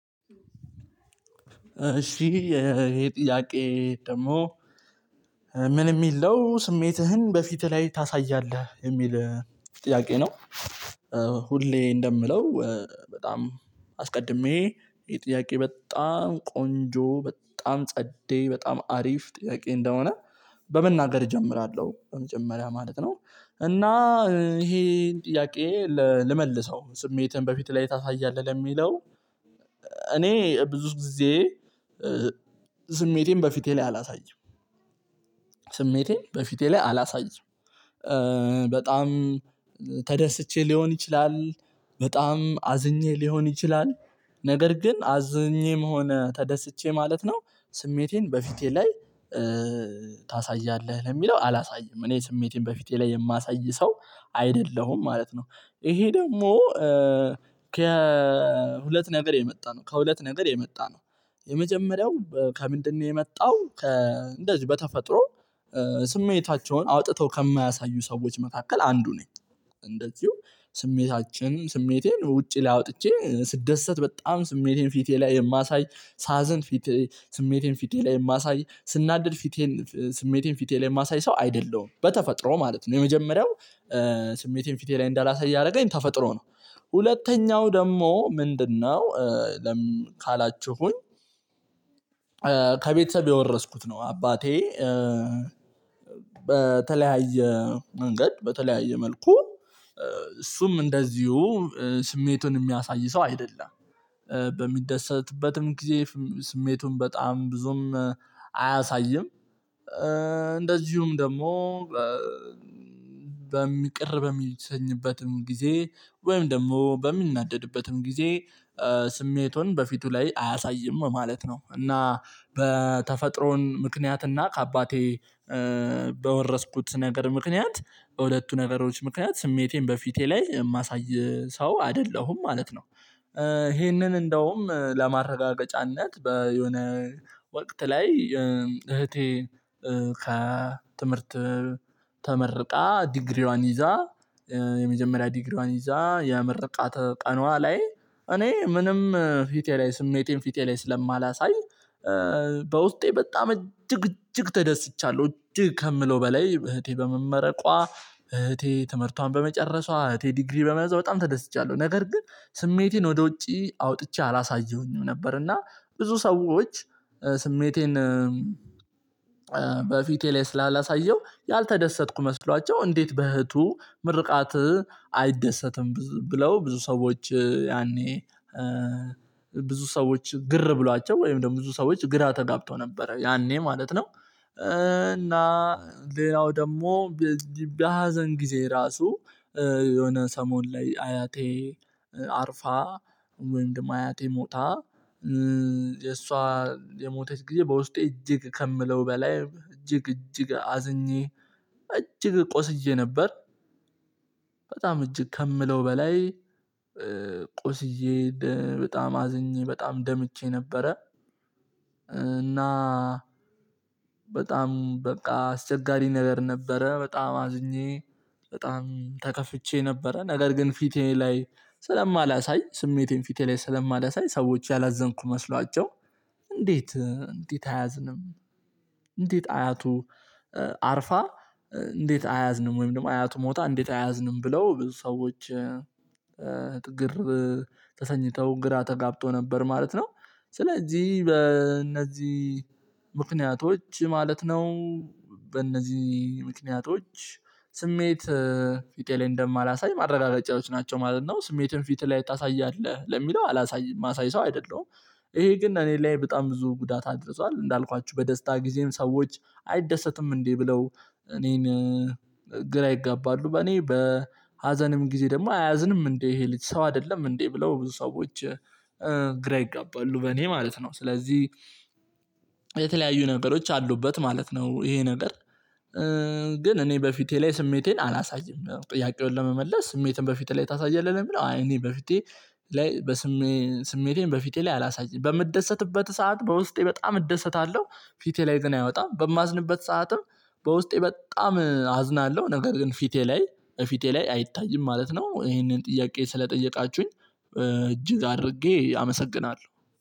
እሺ ይሄ ጥያቄ ደግሞ ምን የሚል ነው ስሜትህን በፊትህ ላይ ታሳያለህ የሚል ጥያቄ ነው። ሁሌ እንደምለው በጣም አስቀድሜ ይሄ ጥያቄ በጣም ቆንጆ በጣም ጸዴ በጣም አሪፍ ጥያቄ እንደሆነ በመናገር እጀምራለሁ በመጀመሪያ ማለት ነው። እና ይሄን ጥያቄ ልመልሰው ስሜትህን በፊትህ ላይ ታሳያለህ ለሚለው እኔ ብዙ ጊዜ ስሜቴን በፊቴ ላይ አላሳይም። ስሜቴን በፊቴ ላይ አላሳይም። በጣም ተደስቼ ሊሆን ይችላል በጣም አዝኜ ሊሆን ይችላል ነገር ግን አዝኜም ሆነ ተደስቼ ማለት ነው። ስሜቴን በፊቴ ላይ ታሳያለህ ለሚለው አላሳይም እኔ ስሜቴን በፊቴ ላይ የማሳይ ሰው አይደለሁም ማለት ነው። ይሄ ደግሞ ከሁለት ነገር የመጣ ነው ከሁለት ነገር የመጣ ነው። የመጀመሪያው ከምንድነው የመጣው ከ እንደዚህ በተፈጥሮ ስሜታቸውን አውጥተው ከማያሳዩ ሰዎች መካከል አንዱ ነኝ። እንደዚሁ ስሜታችን ስሜቴን ውጪ ላይ አውጥቼ ስደሰት በጣም ስሜቴን ፊቴ ላይ የማሳይ ሳዘን ፊቴ ስሜቴን ፊቴ ላይ የማሳይ ስናደድ ፊቴን ስሜቴን ፊቴ ላይ የማሳይ ሰው አይደለሁም በተፈጥሮ ማለት ነው። የመጀመሪያው ስሜቴን ፊቴ ላይ እንዳላሳየ ያደረገኝ ተፈጥሮ ነው። ሁለተኛው ደግሞ ምንድነው እ ለምን ካላችሁኝ? ከቤተሰብ የወረስኩት ነው አባቴ በተለያየ መንገድ በተለያየ መልኩ እሱም እንደዚሁ ስሜቱን የሚያሳይ ሰው አይደለም። በሚደሰትበትም ጊዜ ስሜቱን በጣም ብዙም አያሳይም። እንደዚሁም ደግሞ በሚ ቅር በሚሰኝበትም ጊዜ ወይም ደግሞ በሚናደድበትም ጊዜ ስሜቱን በፊቱ ላይ አያሳይም ማለት ነው። እና በተፈጥሮን ምክንያት እና ከአባቴ በወረስኩት ነገር ምክንያት በሁለቱ ነገሮች ምክንያት ስሜቴን በፊቴ ላይ የማሳይ ሰው አይደለሁም ማለት ነው። ይሄንን እንደውም ለማረጋገጫነት በየሆነ ወቅት ላይ እህቴ ከትምህርት ተመርቃ ዲግሪዋን ይዛ የመጀመሪያ ዲግሪዋን ይዛ የምርቃት ቀኗ ላይ እኔ ምንም ፊቴ ላይ ስሜቴን ፊቴ ላይ ስለማላሳይ በውስጤ በጣም እጅግ እጅግ ተደስቻለሁ እጅግ ከምለው በላይ እህቴ በመመረቋ። እህቴ ትምህርቷን በመጨረሷ እህቴ ዲግሪ በመያዟ በጣም ተደስቻለሁ ነገር ግን ስሜቴን ወደ ውጪ አውጥቼ አላሳየሁኝም ነበር። እና ብዙ ሰዎች ስሜቴን በፊቴ ላይ ስላላሳየው ያልተደሰትኩ መስሏቸው እንዴት በእህቱ ምርቃት አይደሰትም ብለው ብዙ ሰዎች ያኔ ብዙ ሰዎች ግር ብሏቸው ወይም ደግሞ ብዙ ሰዎች ግራ ተጋብተው ነበረ ያኔ ማለት ነው። እና ሌላው ደግሞ በሀዘን ጊዜ ራሱ የሆነ ሰሞን ላይ አያቴ አርፋ ወይም ደግሞ አያቴ ሞታ የሷ የሞተች ጊዜ በውስጤ እጅግ ከምለው በላይ እጅግ እጅግ አዝኜ እጅግ ቆስዬ ነበር። በጣም እጅግ ከምለው በላይ ቆስዬ በጣም አዝኜ በጣም ደምቼ ነበረ። እና በጣም በቃ አስቸጋሪ ነገር ነበረ በጣም አዝኜ በጣም ተከፍቼ ነበረ። ነገር ግን ፊቴ ላይ ስለማላሳይ ስሜቴን ፊቴ ላይ ስለማላሳይ ሰዎች ያላዘንኩ መስሏቸው እንዴት እንዴት አያዝንም አያቱ አርፋ እንዴት አያዝንም ወይም ደግሞ አያቱ ሞታ እንዴት አያዝንም ብለው ብዙ ሰዎች ግር ተሰኝተው ግራ ተጋብተው ነበር ማለት ነው። ስለዚህ በእነዚህ ምክንያቶች ማለት ነው። በእነዚህ ምክንያቶች ስሜት ፊቴ ላይ እንደማላሳይ ማረጋገጫዎች ናቸው ማለት ነው። ስሜትን ፊትህ ላይ ታሳያለህ ለሚለው አላሳይም የማሳይ ሰው አይደለሁም። ይሄ ግን እኔ ላይ በጣም ብዙ ጉዳት አድርሷል እንዳልኳችሁ በደስታ ጊዜም ሰዎች አይደሰትም እንዴ ብለው እኔን ግራ ይጋባሉ። በእኔ በሀዘንም ጊዜ ደግሞ አያዝንም እንዴ ይሄ ልጅ ሰው አይደለም እንዴ ብለው ብዙ ሰዎች ግራ ይጋባሉ። በእኔ ማለት ነው ስለዚህ የተለያዩ ነገሮች አሉበት ማለት ነው። ይሄ ነገር ግን እኔ በፊቴ ላይ ስሜቴን አላሳይም። ጥያቄውን ለመመለስ ስሜትን በፊትህ ላይ ታሳያለህ ወይ የሚለው? አይ እኔ በፊቴ ላይ በስሜቴን በፊቴ ላይ አላሳይም። በምደሰትበት ሰዓት በውስጤ በጣም እደሰታለሁ። ፊቴ ላይ ግን አይወጣም። በማዝንበት ሰዓትም በውስጤ በጣም አዝናለሁ ነገር ግን ፊቴ ላይ ፊቴ ላይ አይታይም ማለት ነው። ይሄንን ጥያቄ ስለጠየቃችሁኝ እጅግ አድርጌ አመሰግናለሁ